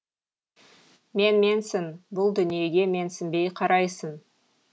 менменсің бұл дүниеге менсінбей қарайсың